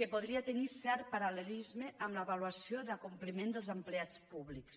que podria tenir cert paral·lelisme amb l’avaluació de l’acompliment dels empleats públics